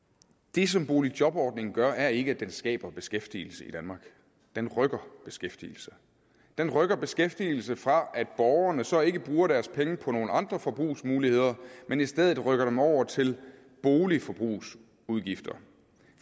det som boligjobordningen gør er ikke at den skaber beskæftigelse i danmark den rykker beskæftigelse den rykker beskæftigelse fra at borgerne så ikke bruger deres penge på nogle andre forbrugsmuligheder men i stedet rykker dem over til boligforbrugsudgifter